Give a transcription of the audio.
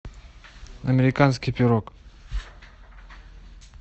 американский пирог